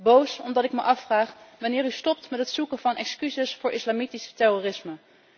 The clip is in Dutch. Boos, omdat ik me afvraag wanneer u stopt met het zoeken van excuses voor het islamitische terrorisme.